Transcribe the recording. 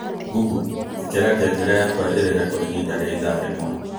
Google ĩkĩra ngengere yakwa ĩrire kwa ihinda rĩa ithaa rĩmwe